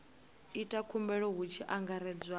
ita khumbelo hu tshi angaredzwa